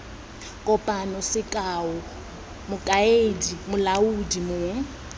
kopang sekao mokaedi molaodi mong